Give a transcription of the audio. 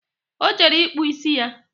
O jere ịkpụ ịsị ya